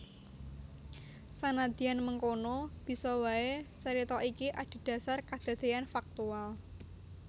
Sanadyan mengkono bisa waé carita iki adhedhasar kadadéyan faktual